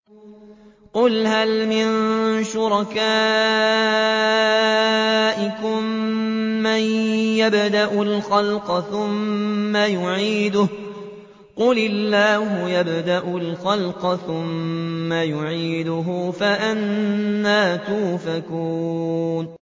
قُلْ هَلْ مِن شُرَكَائِكُم مَّن يَبْدَأُ الْخَلْقَ ثُمَّ يُعِيدُهُ ۚ قُلِ اللَّهُ يَبْدَأُ الْخَلْقَ ثُمَّ يُعِيدُهُ ۖ فَأَنَّىٰ تُؤْفَكُونَ